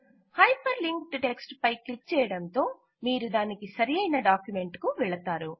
hyper linked text పై click చేయడంతో మీరు దానికి సరియైన డాక్యుమెంట్ కు వెళతారు